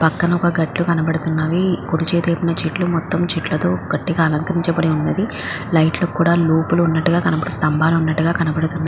పక్కన ఒక గట్టు కనపడుతున్నవి కుడి చేతి వైపున చెట్లు మొత్తం చెట్లతో గట్టిగ అలంకరించిబడి ఉన్నది. లైట్ లు కూడా లోపల ఉన్నట్టుగా కనపడిస్ స్తంభాలు ఉన్నట్టు గా కనబడతుంది.